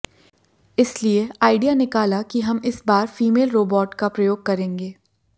इसलिए आइडिया निकाला कि हम इस बार फीमेल रोबॉट का प्रयोग करेंगे